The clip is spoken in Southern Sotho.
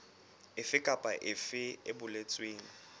efe kapa efe e boletsweng